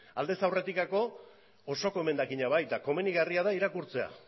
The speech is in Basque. aldez aurretikako osoko emendakina bai eta komenigarria da irakurtzea